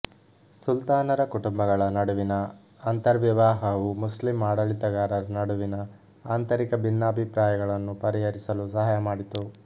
ಸುಲ್ತಾನರ ಕುಟುಂಬಗಳ ನಡುವಿನ ಅಂತರ್ವಿವಾಹವು ಮುಸ್ಲಿಂ ಆಡಳಿತಗಾರರ ನಡುವಿನ ಆಂತರಿಕ ಭಿನ್ನಾಭಿಪ್ರಾಯಗಳನ್ನು ಪರಿಹರಿಸಲು ಸಹಾಯ ಮಾಡಿತು